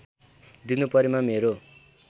दिनु परेमा मेरो